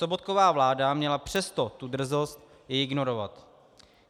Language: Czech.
Sobotkova vláda měla přesto tu drzost ji ignorovat.